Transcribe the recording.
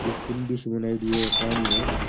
एक कुण्डी सी बनाईडी है पानी है बठ।